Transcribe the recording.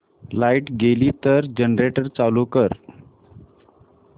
light गेली तर generator चालू कर